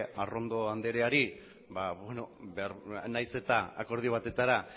arrondo andreari nahiz eta akordio batetara